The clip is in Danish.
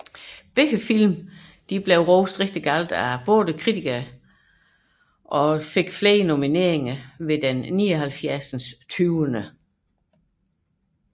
Begge film blev meget rosende omtalt af kritikerne og opnåede flere nomineringer ved den 79